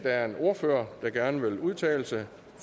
er en ordfører der gerne vil udtale sig